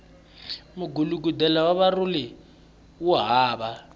mugulugudela wa marhole wo hava